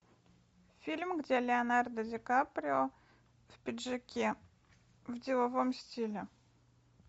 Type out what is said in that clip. фильм где леонардо ди каприо в пиджаке в деловом стиле